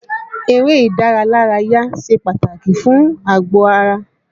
Eré ìdáralárayá ṣe pàtàkì fún àgọ-ara.